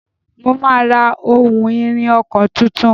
Mo máa ra ohun-ìrìn ọkọ̀ tuntun.